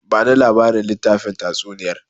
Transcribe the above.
Bani labarin littafin tatsuniyar!